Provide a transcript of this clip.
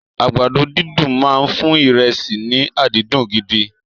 Àgbàdo dídùn máa fún ìrẹsì rẹ ní adùn gidi.